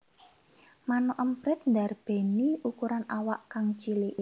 Manuk emprit ndarbèni ukuran awak kang cilik